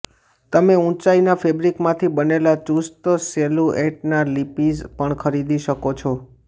તમે ઉંચાઇના ફેબ્રિકમાંથી બનેલા ચુસ્ત સિલુએટના લેપિઝ પણ ખરીદી શકો છો